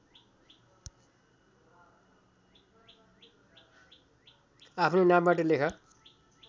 आफ्नो नामबाट लेख